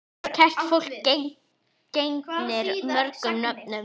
Kært fólk gegnir mörgum nöfnum.